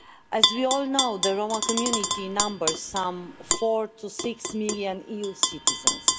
As we all know, the Roma community numbers some four to six million EU citizens.